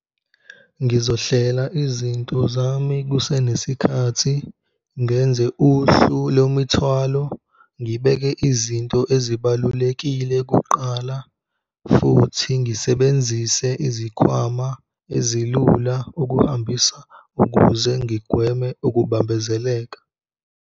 Ngizohlela izinto zami kusenesikhathi, ngenze uhlu lwemithwalo, ngibeke izinto ezibalulekile kuqala futhi ngisebenzise izikhwama ezilula ukuhambisa ukuze ngigweme ukubambezeleka.